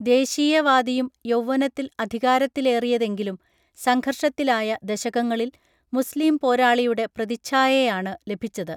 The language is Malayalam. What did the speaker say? ദേശീയവാദിയും യൗവനത്തിൽ അധികാരത്തിലേറിയതെങ്കിലും സംഘർഷത്തിലായ ദശകങ്ങളിൽ മുസ്ലിം പോരാളിയുടെ പ്രതിച്ഛായാണു ലഭിച്ചത്